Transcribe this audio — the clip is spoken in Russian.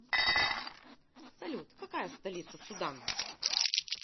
салют какая столица судан